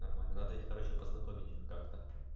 нормально надо их короче познакомить как-то